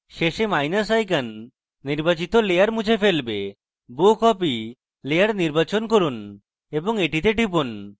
শেষে minus icon নির্বাচিত layer মুছে ফেলবে bow copy layer নির্বাচন করুন এবং এটিতে টিপুন